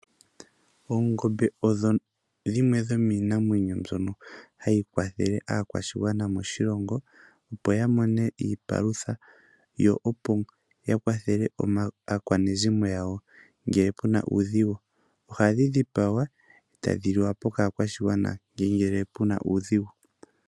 Oongombe odho dhimwe dhomii namwenyo mbono hayi kwathele aakwashigwana moshilongo, opo ya mone iipalutha yo opo ya kwathele aakwanezimo yawo ngele puna uudhigu. Oha dhi dhipagwa etadhi liwa po kaa kwashi gwana nenge puna uudhigu.